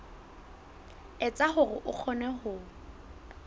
etsa hore o kgone ho